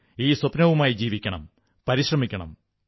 ഈ സ്വപ്നവുമായി ജീവിക്കണം പരിശ്രമിക്കണം